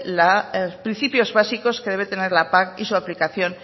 los principios básicos que debe tener la pac y su aplicación